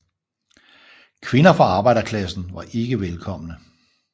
Kvinder fra arbejderklassen var ikke velkomne